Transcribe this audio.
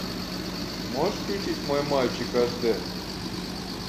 можешь включить мой мальчик аш д